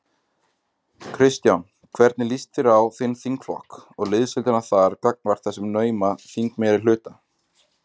Kristján: Hvernig líst þér á þinn þingflokk og liðsheildina þar gagnvart þessum nauma þingmeirihluta?